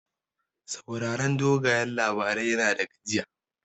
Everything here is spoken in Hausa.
Sauraron dogayen labarai yana da gajiya.